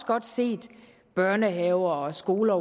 godt set børnehaver og skoler